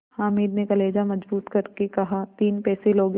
हामिद ने कलेजा मजबूत करके कहातीन पैसे लोगे